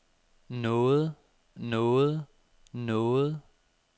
noget noget noget